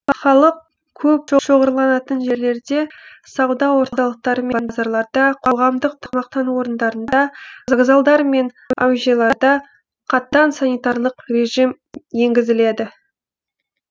халық көп шоғырланатын жерлерде сауда орталықтары мен базарларда қоғамдық тамақтану орындарында вокзалдар мен әуежайларда қатаң санитарлық режим енгізіледі